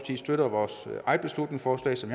støtter vores eget beslutningsforslag som